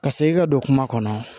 Ka segin ka don kuma kɔnɔ